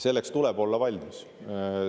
Selleks tuleb olla valmis.